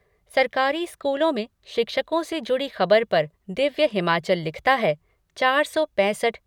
सरकारी स्कूलों में शिक्षकों से जुड़ी ख़बर पर दिव्य हिमाचल लिखता है चार सौ पैंसठ